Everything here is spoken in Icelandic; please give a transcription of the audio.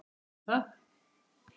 Viss um hvað?